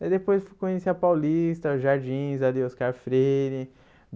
Daí depois eu fui conhecer a Paulista, os jardins ali, Oscar Freire.